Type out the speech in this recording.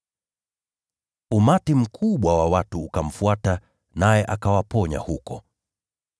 Umati mkubwa wa watu ukamfuata, naye akawaponya huko.